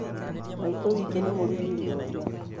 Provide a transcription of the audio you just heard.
Maitũ witũ nĩ mũrugi njoruwa